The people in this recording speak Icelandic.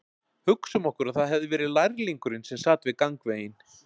Hugsum okkur að það hefði verið lærlingurinn sem sat við gangveginn